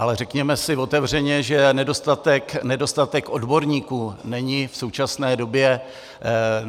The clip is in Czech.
Ale řekněme si otevřeně, že nedostatek odborníků není v současné době...